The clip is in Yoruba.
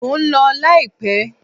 Mo ń lọ láìpẹ́.